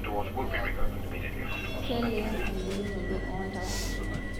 Keleen ebulunoto oo ntapuka